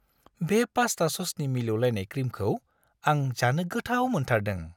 बे पास्ता ससनि मिलौलायनाय क्रिमखौ आं जानो गोथाव मोनथारदों।